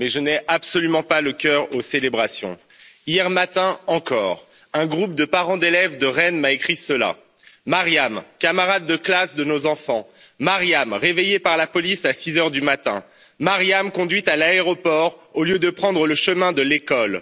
mais je n'ai absolument pas le cœur aux célébrations. Hier matin encore, un groupe de parents d'élèves de Rennes m'a écrit cela Mariam, camarade de classe de nos enfants, Mariam, réveillé par la police à 6 heures du matin, Mariam conduite à l'aéroport au lieu de prendre le chemin de l'école,